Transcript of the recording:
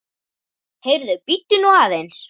Heyrðu, bíddu nú aðeins!